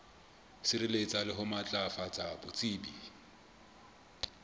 sireletsa le ho matlafatsa botsebi